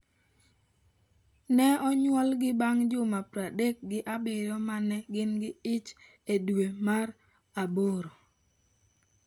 Ne onyuolgi bang’ juma pradek gi abirio ma ne gin gi ich e dwe mar aboro.